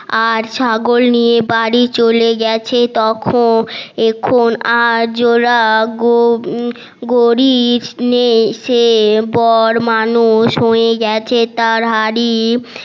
আর ছাগল নিয়ে বাড়ি চোলে গেছে তখন এখন আর জোলা গরীব নেই সে বড় মানুষ হয়ে গেছে তার হাড়ি